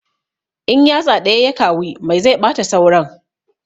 In yatsa ɗaya ya kawi mai zai ɓata sauran